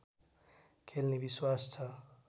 खेल्ने विश्वास छ